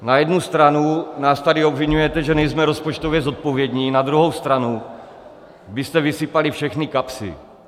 Na jednu stranu nás tady obviňujete, že nejsme rozpočtově zodpovědní, na druhou stranu byste vysypali všechny kapsy.